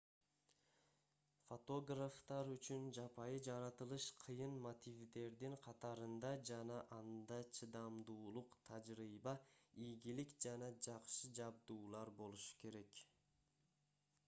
фотографтар үчүн жапайы жаратылыш кыйын мотивдердин катарында жана анда чыдамдуулук тажрыйба ийгилик жана жакшы жабдуулар болушу керек